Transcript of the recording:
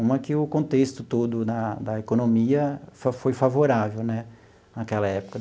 Uma que o contexto todo da da economia foi foi favorável né naquela época.